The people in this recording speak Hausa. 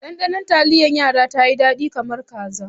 Ɗanɗanon taliyar yara tayi dadi kamar kaza.